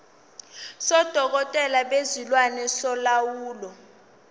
sodokotela bezilwane solawulo